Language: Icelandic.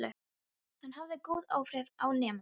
Hann hafði góð áhrif á nemendur.